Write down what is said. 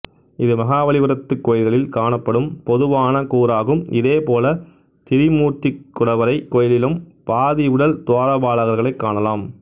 இது மகாபலிபுரத்து கோயில்களில் காணப்படும் பொதுவான கூறாகும் இதேபோல திரிமூர்த்திக் குடவரைக் கோயிலிலும் பாதி உடல் துவாரபாலகர்களைக் காணலாம்